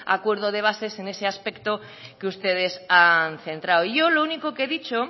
acuerdo de bases en ese aspecto que ustedes han centrado yo lo único que he dicho